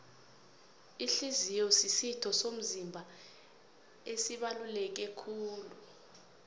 ihliziyo zisitho somzimba esibaluleke kulu